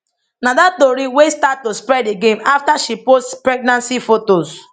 na dat tori wey start to spread again afta she post pregnancy fotos